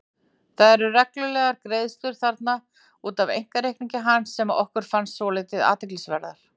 Það eru reglulegar greiðslur þarna út af einkareikningi hans sem okkur fannst svolítið athyglisverðar.